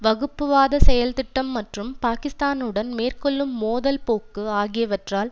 வகுப்புவாத செயல்திட்டம் மற்றும் பாக்கிஸ்தானுடன் மேற்கொள்ளும் மோதல் போக்கு ஆகியவற்றால்